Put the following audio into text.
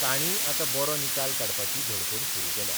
ताणय आतां बरो निकाल काडपाची धडपड सुरू केल्या.